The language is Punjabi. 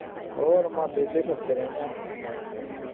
ਹੋਰ ਮੈ ਬੇਹਲੇ ਫਿਰਦੇ ਰਹਿਣੇ ਆ